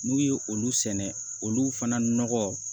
N'u ye olu sɛnɛ olu fana nɔgɔ